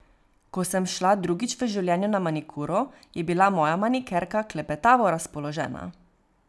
Ko sem šla drugič v življenju na manikuro, je bila moja manikerka klepetavo razpoložena.